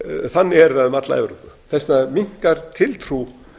þannig er það um alla evrópu þess vegna minnkar tiltrú